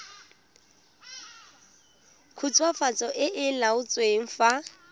khutswafatso e e laotsweng fa